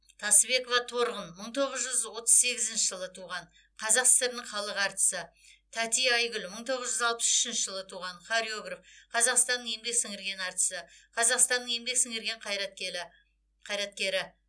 тасыбекова торғын мың тоғыз жүз отыз сегізінші жылы туған қазақ сср інің халық әртісі тәти айгүл мың тоғыз жүз алпыс үшінші жылы туған хореограф қазақстанның еңбек сіңірген әртісі қазақстанның еңбек сіңірген кайраткелі қайраткері